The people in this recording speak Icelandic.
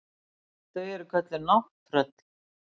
Þau eru kölluð nátttröll.